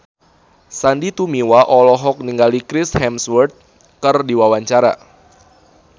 Sandy Tumiwa olohok ningali Chris Hemsworth keur diwawancara